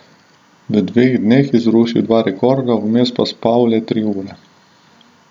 V dveh dneh je zrušil dva rekorda, vmes pa spal le tri ure.